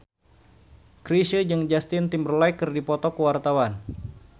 Chrisye jeung Justin Timberlake keur dipoto ku wartawan